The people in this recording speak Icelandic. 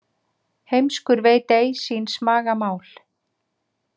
Heimskur veit ei síns maga mál.